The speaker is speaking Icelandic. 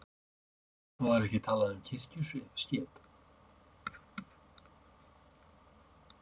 Var ekki talað um kirkjuskip?